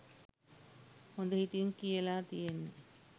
හොඳ හිතින් කියලා තියෙන්නෙ